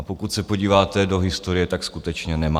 A pokud se podíváte do historie, tak skutečně nemá.